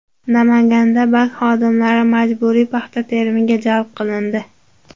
Namanganda bank xodimlari majburiy paxta terimiga jalb qilindi.